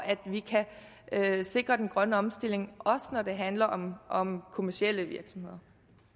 at vi kan sikre den grønne omstilling også når det handler om om kommercielle virksomheder